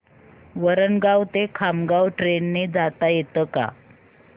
वरणगाव ते खामगाव ट्रेन ने जाता येतं का